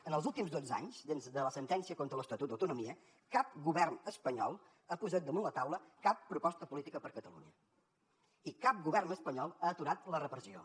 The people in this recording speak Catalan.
en els últims dotze anys des de la sentència contra l’estatut d’autonomia cap govern espanyol ha posat damunt la taula cap proposta política per a catalunya i cap govern espanyol ha aturat la repressió